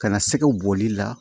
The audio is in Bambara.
Ka na sɛgɛw bɔli la